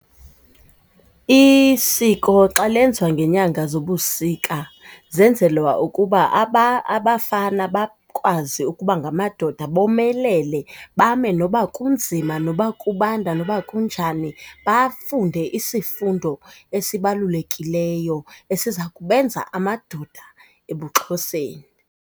Isiko xa lenziwa ngenyanga zobusika zenzelwa ukuba abafana bakwazi ukuba ngamadoda bomelele, bame noba kunzima noba kubanda noba kunjani, bafunde isifundo esibalulekileyo esiza kubenza amadoda ebuXhoseni.